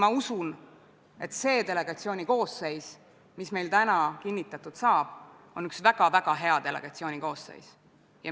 Aga kui see asi kokku võtta – need viited selle kohta, mismoodi kandidaat on oma poolehoidu ühe või teise režiimi ja seisukohtade suhtes väljendanud, on tegelikult avalikult kättesaadavad –, siis kas ma olen valel teel, kui küsin järgmist?